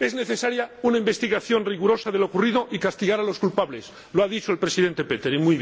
Es necesaria una investigación rigurosa de lo ocurrido y castigar a los culpables, como muy bien ha dicho el señor Pöttering.